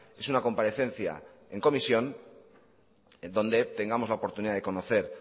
es una comparecencia en comisión en donde tengamos la oportunidad de conocer